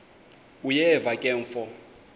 uyeva ke mfo